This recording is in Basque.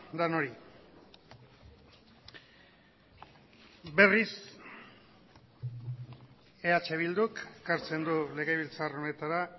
denoi berriz eh bilduk ekartzen du legebiltzar honetara